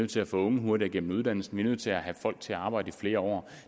til at få unge hurtigere igennem uddannelsen nødt til at have folk til at arbejde i flere år